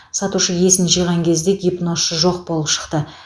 сатушы есін жиған кезде гипнозшы жоқ болып шықты